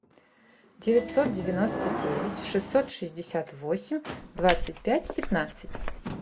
девятьсот девяносто девять шестьсот шестьдесят восемь двадцать пять пятнадцать